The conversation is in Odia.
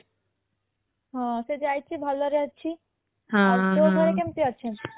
ହଁ ସେ ଯାଇଛି ଭଲ ରେ ଅଛି ଆଉ ତୋ ଘରେ କେମତି ଅଛନ୍ତି